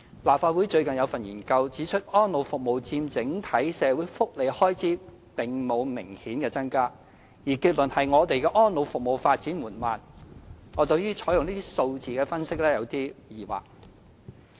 立法會最近發表研究，指出安老服務佔整體社會福利開支並沒有明顯增加，結論是我們的安老服務發展緩慢，我對於採用這個數字作出分析有點疑惑。